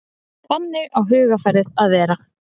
Þannig á hugarfarið að vera.